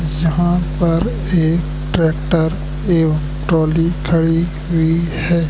जहां पर एक ट्रैक्टर एवं ट्राली खड़ी हुई है।